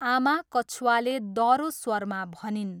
आमा कछुवाले दह्रो स्वरमा भनिन्।